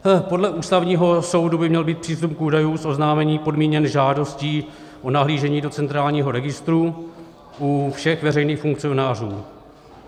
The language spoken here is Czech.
Podle Ústavního soudu by měl být přístup k údajům z oznámení podmíněn žádostí o nahlížení do centrálního registru u všech veřejných funkcionářů.